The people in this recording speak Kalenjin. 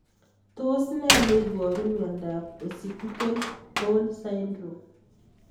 Tos nee neiparu miondop Occipital horn syndrome?